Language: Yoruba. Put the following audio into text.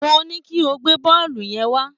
Mo ní kí o gbé bọ́ọ̀lù yẹn wá